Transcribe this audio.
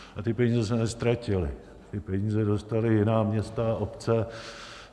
A ty peníze se neztratily, ty peníze dostala jiná města a obce.